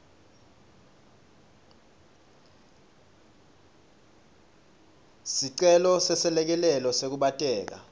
sicelo seselekelelo sekukhubateka